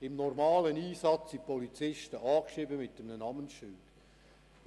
Im normalen Einsatz sind die Polizisten mit einem Namensschild angeschrieben.